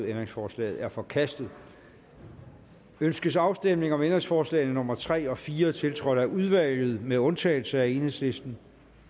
ændringsforslaget er forkastet ønskes afstemning om ændringsforslagene nummer tre og fire tiltrådt af udvalget med undtagelse af enhedslisten